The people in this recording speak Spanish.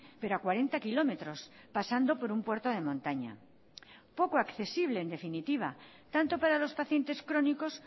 pero a cuarenta kilómetros pasando por un puerto de montaña poco accesible en definitiva tanto para los pacientes crónicos